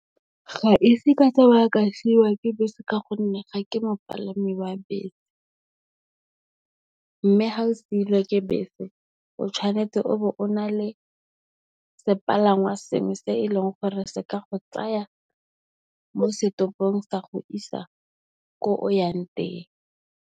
Ga ese ka tsamaya ka siwa ke bese ka gonne, ga ke mopalami wa bese. Mme ga o siilwe ke bese, o tshwanetse o bo o na le sepalangwa sengwe se e leng gore se ka go tsaya mo se topong sa go isa ko o yang teng.